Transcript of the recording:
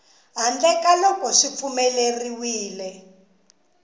handle ka loko swi pfumeleriwile